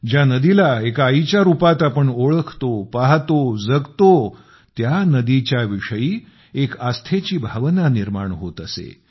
ज्या नदीला एका आईच्या रूपात आपण ओळखतो पाहतो जगतो त्या नदीच्या विषयी एक आस्थेची भावना निर्माण होत असे